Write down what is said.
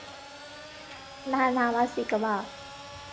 நான் நான் வாசிக்கவா